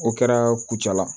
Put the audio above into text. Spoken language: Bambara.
O kɛra kucala